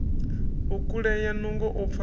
u kulea nungo u fa